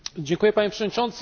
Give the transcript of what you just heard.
Panie Przewodniczący!